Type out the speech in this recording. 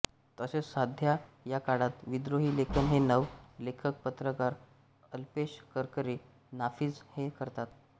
तसेच सध्या या काळात विद्रोही लेखन हे नव लेखक पत्रकार अल्पेश करकरे नाफिझ हे करतात